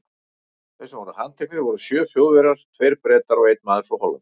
Þeir sem voru handteknir voru sjö Þjóðverjar, tveir Bretar og einn maður frá Hollandi.